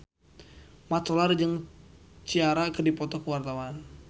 Mat Solar jeung Ciara keur dipoto ku wartawan